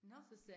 Nåh